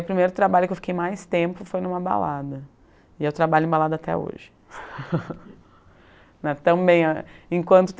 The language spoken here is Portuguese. O primeiro trabalho que eu fiquei mais tempo foi em uma balada, e eu trabalho em balada até hoje. Né também, enquanto